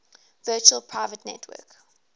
virtual private network